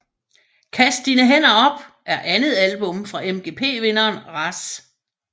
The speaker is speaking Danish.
Kast dine hænder op er andet album fra MGP vinderen Razz